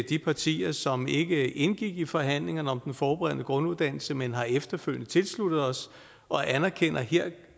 de partier som ikke indgik i forhandlingerne om den forberedende grunduddannelse men har efterfølgende tilsluttet os og anerkender at her